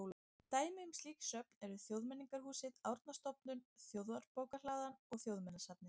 Dæmi um slík söfn eru Þjóðmenningarhúsið, Árnastofnun, Þjóðarbókhlaðan og Þjóðminjasafnið.